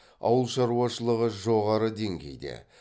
ауыл шаруашылығы жоғары деңгейде